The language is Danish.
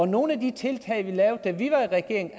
nogle af de tiltag vi lavede da vi var i regering